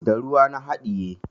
Da ruwa na haɗiye.